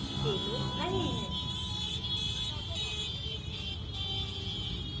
hallow नहीं है